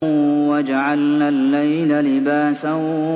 وَجَعَلْنَا اللَّيْلَ لِبَاسًا